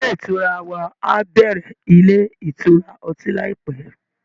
Ilé ìtura wa á bẹ̀rẹ̀ ilé ìtura ọtí láìpẹ́